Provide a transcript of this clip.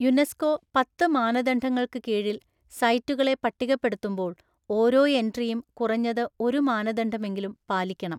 UNESCO പത്ത് മാനദണ്ഡങ്ങൾക്ക് കീഴിൽ സൈറ്റുകളെ പട്ടികപ്പെടുത്തുമ്പോള്‍ ഓരോ എൻട്രിയും കുറഞ്ഞത് ഒരു മാനദണ്ഡമെങ്കിലും പാലിക്കണം.